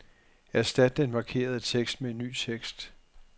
Erstat den markerede tekst med ny tekst.